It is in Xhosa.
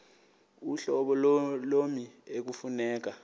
uhlobo lommi ekufuneka